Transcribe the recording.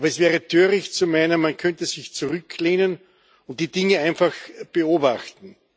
Aber es wäre töricht zu meinen, man könnte sich zurücklehnen und die Dinge einfach beobachten.